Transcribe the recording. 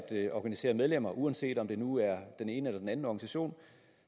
organisere medlemmer uanset om det nu er den ene eller den anden organisation